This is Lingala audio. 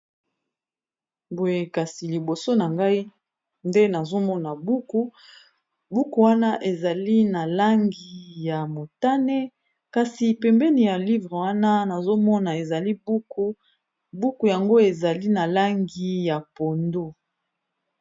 Boye kasi liboso na ngai nde nazomona buku, buku wana ezali na langi ya motane kasi pembeni ya livre wana nazomona ezali buku, buku yango ezali na langi ya pondu.